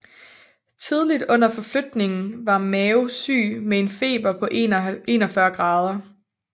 Tidligt under forflytningen var Mao syg med en feber på 41 grader